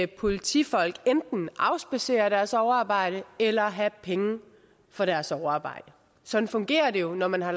politifolk enten afspadsere deres overarbejde eller have penge for deres overarbejde sådan fungerer det jo når man har